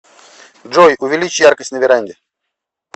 джой увеличь яркость на веранде